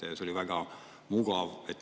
See oli väga mugav.